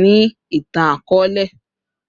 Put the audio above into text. ni itan-akọọlẹ